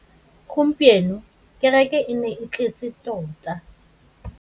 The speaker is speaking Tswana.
Gompieno kêrêkê e ne e tletse tota.